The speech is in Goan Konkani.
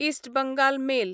इस्ट बंगाल मेल